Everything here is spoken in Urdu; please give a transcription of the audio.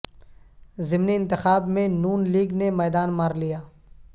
ضمنی انتخاب میں ن لیگ نے میدان مار لیا